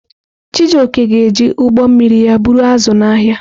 Chijioke ga-eji ụgbọ mmiri ya buru azụ̀ n’ahịa.